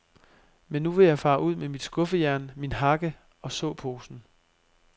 Men nu vil jeg fare ud med mit skuffejern, min hakke og såposen.